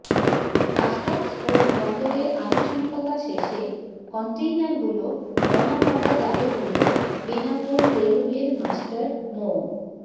customs ও বন্দরের আনুষ্ঠানিকতা শেষে কন্টেইনারগুলো নওয়াপাড়ায় যাবে বলে বেনাপোল রেলওয়ের মাস্টার মো